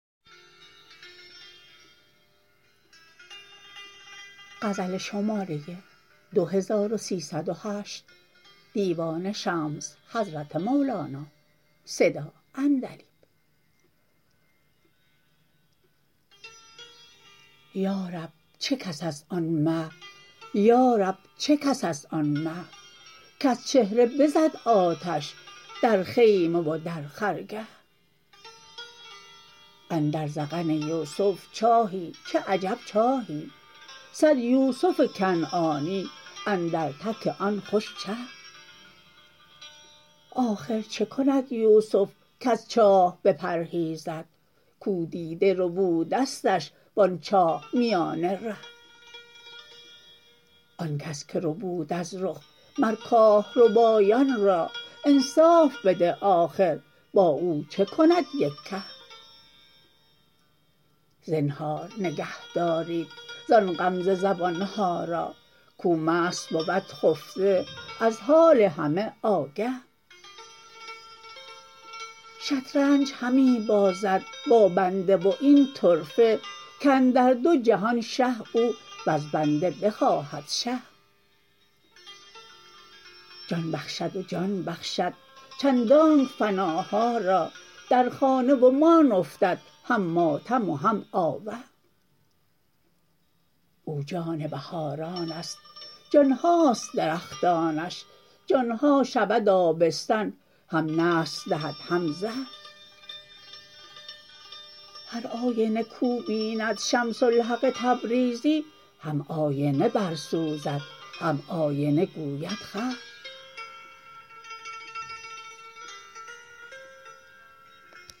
یا رب چه کس است آن مه یا رب چه کس است آن مه کز چهره بزد آتش در خیمه و در خرگه اندر ذقن یوسف چاهی چه عجب چاهی صد یوسف کنعانی اندر تک آن خوش چه آخر چه کند یوسف کز چاه بپرهیزد کو دیده ربودستش و آن چاه میان ره آن کس که ربود از رخ مر کاه ربایان را انصاف بده آخر با او چه کند یک که زنهار نگهدارید زان غمزه زبان ها را کو مست بود خفته از حال همه آگه شطرنج همی بازد با بنده و این طرفه کاندر دو جهان شه او وز بنده بخواهد شه جان بخشد و جان بخشد چندانک فناها را در خانه و مان افتد هم ماتم و هم آوه او جان بهاران است جان هاست درختانش جان ها شود آبستن هم نسل دهد هم زه هر آینه کو بیند شمس الحق تبریزی هم آینه برسوزد هم آینه گوید خه